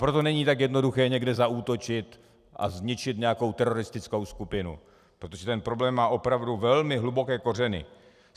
Proto není tak jednoduché někde zaútočit a zničit nějakou teroristickou skupinu, protože ten problém má opravdu velmi hluboké kořeny.